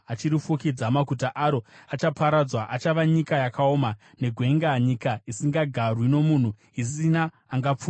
Maguta aro achaparadzwa, achava nyika yakaoma negwenga, nyika isingagarwi nomunhu, isina angapfuura nemairi.